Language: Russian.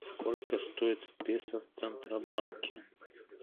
сколько стоит песо в центробанке